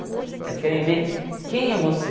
Eles querem ver quem é você.